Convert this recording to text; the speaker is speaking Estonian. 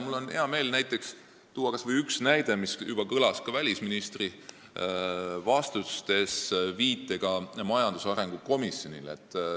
Mul on hea meel tuua kas või seesama näide, mis kõlas juba ka välisministri vastustes, kus oli viide majandusarengu komisjonile.